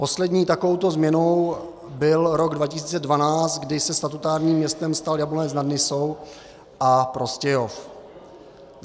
Poslední takovou změnou byl rok 2012, kdy se statutárním městem stal Jablonec nad Nisou a Prostějov.